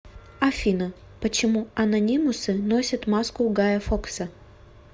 афина почему анонимусы носят маску гая фокса